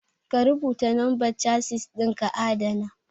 Ka rubuta lambar Chasis ɗin ka adana